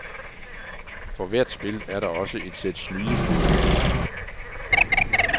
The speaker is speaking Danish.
For hvert spil er der også et sæt snydekoder.